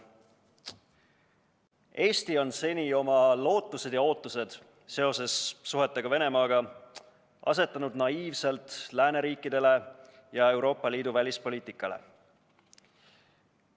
Eesti on seni oma lootused ja ootused, mis puudutavad suhteid Venemaaga, asetanud naiivselt lääneriikidele ja Euroopa Liidu välispoliitikale.